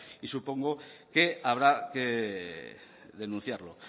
y supongo que habrá que denunciarlo